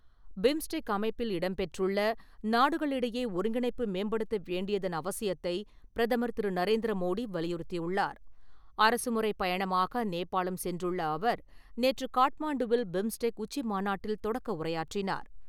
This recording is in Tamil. பிம்ஸ்டெக் அமைப்பில் இம்பெற்றுள்ள நாடுகளிடையே ஒருங்கிணைப்பு மேம்படுத்தப்படவேண்டியதன் அவசியத்தை பிரதமர் திரு. நரேந்திர மோடி வலியுறுத்தி உள்ளார். அரசுமுறை பயணமாக நோபாளம் சென்றுள்ள அவர் நேற்று காட்மாண்டுவில் பிம்ஸ்டெக் உச்சிமாநாட்டில் தொடக்க உரையாற்றினார்.